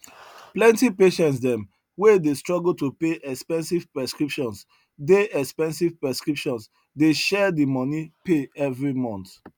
plenty patients dem wey dey struggle to pay expensive prescriptions dey expensive prescriptions dey share the moni pay every month